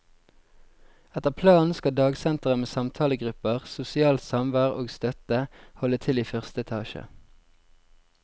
Etter planen skal dagsenteret, med samtalegrupper, sosialt samvær og støtte, holde til i første etasje.